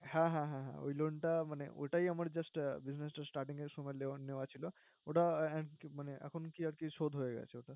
হ্যাঁ হ্যাঁ হ্যাঁ, ঐ loan মানে ওটাই আমার just business starting এর সময় loan নেওয়া ছিলো। ওটা এখন কি মানে এখন কি আরকি শোধ হয়ে গেসে ওটা।